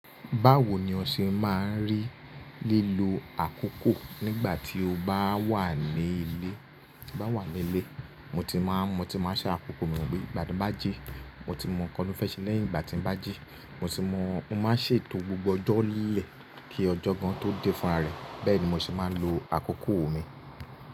Báwo ni o ṣe máa ń rí lílo àkókò nígbà tí o bá wà ní ilé? Bá wà ní ilé, mo ti máa, mo ti máa ṣàkókò mi wípé ìgbà tí ń bá jí, mo ti mọ nkan tí mo fẹ́ ṣe lẹ́yìn ìgbà tí ń bá jí, mo ti mọ, mo máa ń ṣètò gbogbo ọjọ́ lẹ ki ọjọ́ gan tó dé fúnra rẹ̀. Bẹ́ẹ̀ ni mo ṣe máa ń lo àkókò mi.